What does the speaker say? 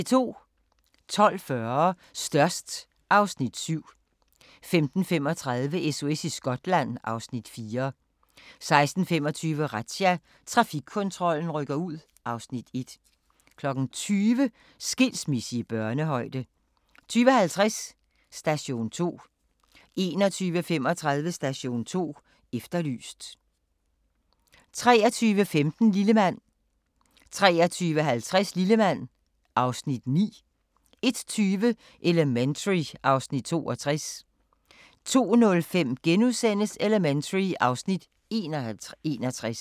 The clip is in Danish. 12:40: Størst (Afs. 7) 15:35: SOS i Skotland (Afs. 4) 16:25: Razzia – Trafikkontrollen rykker ud (Afs. 1) 20:00: Skilsmisse i børnehøjde 20:50: Station 2 21:35: Station 2 Efterlyst 23:15: Lillemand 23:50: Lillemand (Afs. 9) 01:20: Elementary (Afs. 62) 02:05: Elementary (Afs. 61)*